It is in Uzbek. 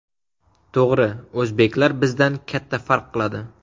To‘g‘ri, o‘zbeklar bizdan katta farq qiladi.